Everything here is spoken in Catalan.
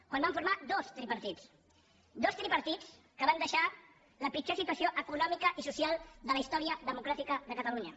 quan van formar dos tripartits dos tripartits que van deixar la pitjor situació econòmica i social de la història democràtica de catalunya